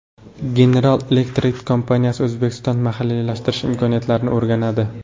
General Electric kompaniyasi O‘zbekistonda mahalliylashtirish imkoniyatlarini o‘rganadi.